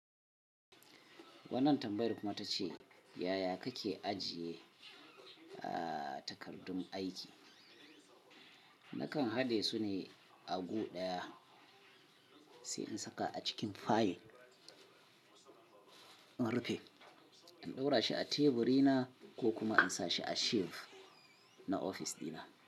Wannan tambayar kuma ta ce, yaya kake ajiye, a, takardun aiki? Nakan haɗe su ne a gu ɗaya sai in saka a cikin fayil. In rufe, in ɗaura shi a teburi na ko kuma in sa shi a shelf na ofis ɗina.